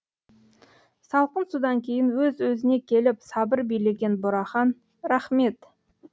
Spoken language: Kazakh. салқын судан кейін өз өзіне келіп сабыр билеген бурахан рахмет